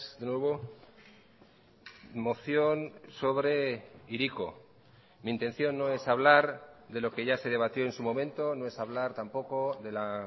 de nuevo moción sobre hiriko mi intención no es hablar de lo que ya se debatió en su momento no es hablar tampoco de la